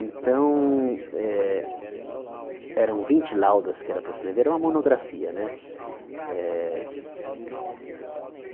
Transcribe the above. Então, eh eram vinte laudas que era para escrever era uma monografia né eh.